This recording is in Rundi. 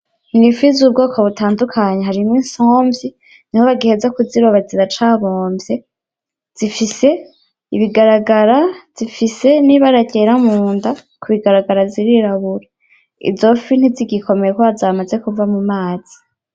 N'ifi zubwoko butandukanye harimwo imfunvyi niho bagiheza kuziroba ziracabomvye zifise ibigaragara zifise nibara ryera munda kubigaragara ziirirabura izo fi ntizigikomeye kubera zamaze kuva mu mazi.